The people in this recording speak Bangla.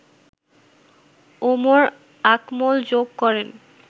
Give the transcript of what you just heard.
উমর আকমল যোগ করেন